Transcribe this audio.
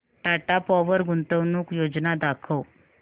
Tata Power गुंतवणूक योजना दाखव